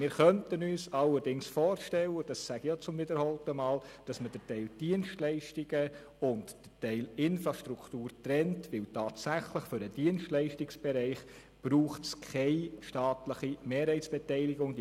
Wie ich schon mehrmals sagte, könnten wir uns allerdings vorstellen, dass man den Teil Dienstleistungen und den Teil Infrastruktur trennt, weil es für den Dienstleistungsbereich tatsächlich keine staatliche Mehrheitsbeteiligung braucht.